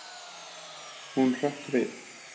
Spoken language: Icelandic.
Hún hrökk við.